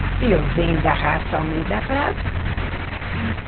E eu venho da raça Almeida Prado.